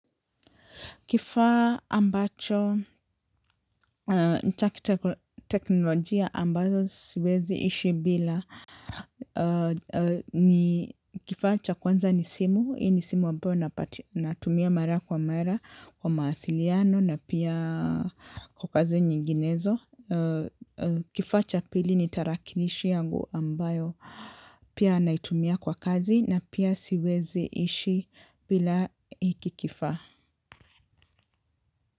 Kifaa ambacho ni cha kiteknolojia ambazo siwezi ishi bila. Kifaa cha kwanza ni simu, hii ni simu ambayo natumia mara kwa mara kwa mawasiliano na pia kwa kazi nyinginezo. Kifaa cha pili ni tarakilishi yangu ambayo pia naitumia kwa kazi na pia siwezi ishi bila hiki kifaa.